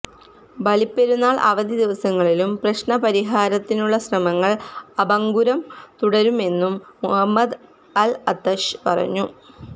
ബലി പെരുന്നാൾ അവധി ദിവസങ്ങളിലും പ്രശ്നപരിഹാരത്തിനുള്ള ശ്രമങ്ങൾ അഭംഗുരം തുടരുമെന്നും മുഹമ്മദ് അൽഅത്റശ് പറഞ്ഞു